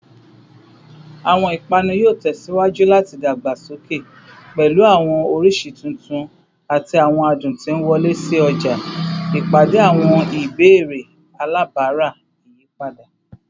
Awọn ipanu yoo tẹsiwaju lati dagbasoke, pẹlu awọn oriṣi tuntun ati awọn adun ti nwọle si ọja, ipade awọn ibeere alabara iyipada